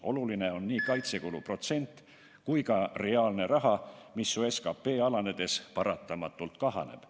Oluline on nii kaitsekulude protsent kui ka reaalne raha, mis ju SKT alanedes paratamatult kahaneb.